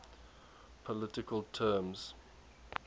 political terms